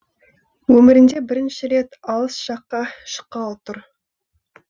өмірінде бірінші рет алыс жаққа шыққалы тұр